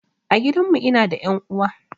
A gidan mu ina da ƴan uwa